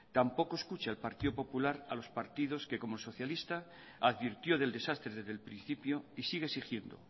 tampoco escucha el partido popular a los partidos que como el socialista advirtió del desastre desde el principio y sigue exigiendo